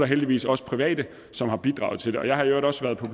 heldigvis også private som har bidraget til det jeg har i øvrigt også været på